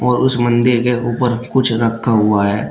उस मंदिर के ऊपर कुछ रखा हुआ है।